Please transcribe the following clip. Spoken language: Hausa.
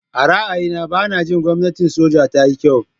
A ra'ayina, ba na jin gwamnatin soja ta yi kyau.